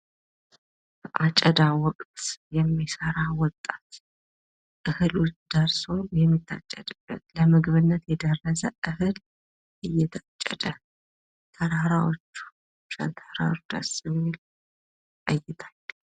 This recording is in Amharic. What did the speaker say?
አጨዳ ወቅት የሚሰራ ወጣት እህሉ ደርሶ የሚታጨድበት ለምግብነት የደረሰ እህል እየታጨደ። ተራራዎቹ ሸንተረሩ ደስ የሚል እይታ።